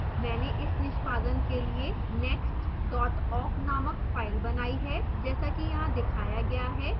मैंने इस निष्पादन के लिए next awk named file बनाई है जैसा कि यहाँ दिखाया गया है